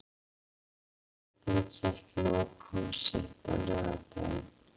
Afturelding hélt lokahóf sitt á laugardaginn.